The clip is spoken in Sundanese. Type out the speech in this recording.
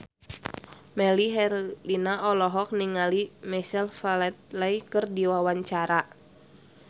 Melly Herlina olohok ningali Michael Flatley keur diwawancara